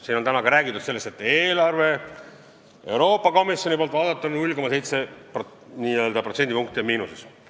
Siin on täna ka räägitud sellest, et eelarve on Euroopa Komisjoni arvates 0,7%-ga miinuses.